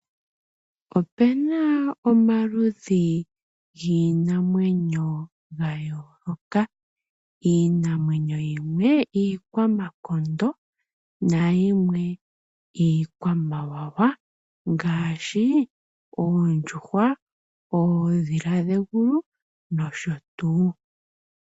Opena omaludhi giinamwenyo ga yooloka. Iinamwenyo yimwe iikwamakondo nayimwe iikwamawawa ngaashi, oondjuhwa, oodhila dhegulu nosho tu.